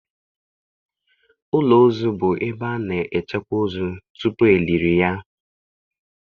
Ụlọ ozu bụ ebe a na-echekwa ozu tupu e liri ya.